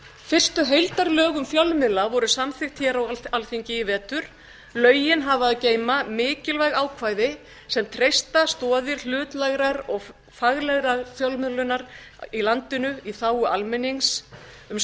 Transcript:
fyrstu heildarlög um fjölmiðla voru samþykkt hér á alþingi í vetur lögin hafa að geyma mikilvæg ákvæði sem treysta stoðir hlutlægrar og faglegrar fjölmiðlunar í landinu í þágu almennings um